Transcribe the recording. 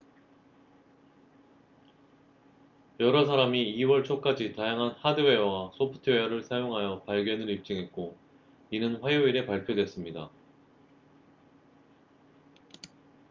여러 사람이 2월 초까지 다양한 하드웨어와 소프트웨어를 사용하여 발견을 입증했고 이는 화요일에 발표됐습니다